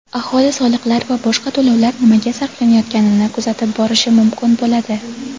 Aholi soliqlar va boshqa to‘lovlar nimaga sarflanayotganini kuzatib borishi mumkin bo‘ladi.